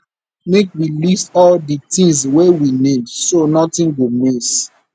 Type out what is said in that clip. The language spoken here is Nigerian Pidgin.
make we list all di tins wey we need so notin go miss